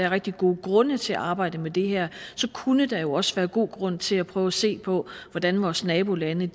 rigtig gode grunde til at arbejde med det her så kunne der jo også være god grund til at prøve at se på hvordan vores nabolande